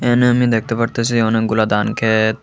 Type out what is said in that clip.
এহানে আমি দেখতে পারতাসি অনেকগুলো দানক্ষেত ।